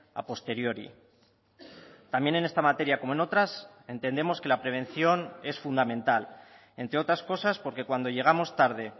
a posteriori también en esta materia como en otras entendemos que la prevención es fundamental entre otras cosas porque cuando llegamos tarde